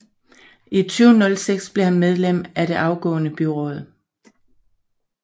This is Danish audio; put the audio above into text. I 2006 blev han medlem af det afgående byråd